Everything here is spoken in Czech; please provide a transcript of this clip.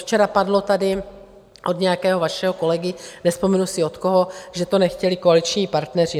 Včera padlo tady od nějakého vašeho kolegy, nevzpomenu si od koho, že to nechtěli koaliční partneři.